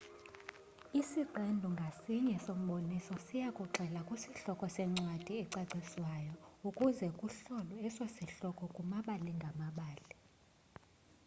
isiqendu ngasinye somboniso siyakugxila kwisihloko sencwadi ecacisiweyo ukuze kuhlolwe eso sihloko kumabali ngamabali